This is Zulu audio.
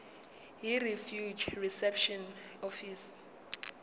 yirefugee reception office